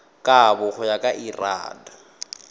kabo go ya ka lrad